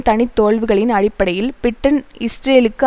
தனி தோல்விகளின் அடிப்படையில் பிரிட்டன் இஸ்ரேலுக்கு